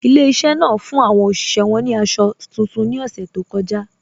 Ilẹ̀-ìṣẹ̀ náà fún awọn oṣiṣẹ̀ wọn ni àṣọ tuntun ni ọṣẹ̀ tó kọja